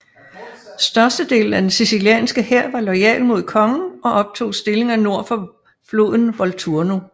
Størstedelen af den sicilianske hær var loyal mod kongen og optog stillinger nord for floden Volturno